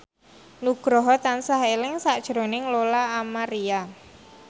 Nugroho tansah eling sakjroning Lola Amaria